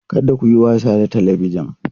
Kada ku yi wasa da Talabijin!